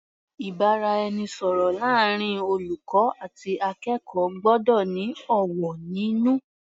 Ìbáraẹnisọ̀rọ̀ láàrin olùkọ́ àti akẹ́kọ̀ọ́ gbọ́dọ̀ ní ọ̀wọ̀ nínú.